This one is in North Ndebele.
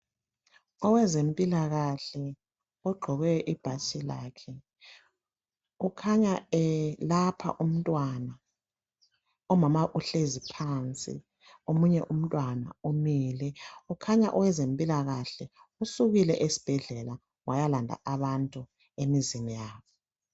Owezempilakahle ogqoke ibhatshi lakhe kukhanya welapha umntwana umama uhlezi phansi omunye umntwana umile kukhanya owezempilakahle usukile esibhedlela wayalanda abantu emzini yabo.